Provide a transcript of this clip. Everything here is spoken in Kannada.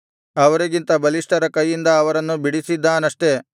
ಅವರಿಗಿಂತ ಬಲಿಷ್ಠರ ಕೈಯಿಂದ ಅವರನ್ನು ಬಿಡಿಸಿದ್ದಾನಷ್ಟೆ